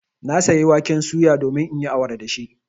Na sayi waken suya domin in yi awara da shi.